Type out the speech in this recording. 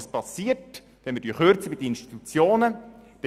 Was passiert, wenn wir bei den Institutionen kürzen?